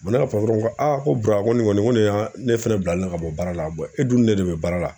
ne ka ko a ko ko nin kɔni ko ne ne fɛnɛ bilalen ka bɔ baara la e dun ne de bɛ baara la.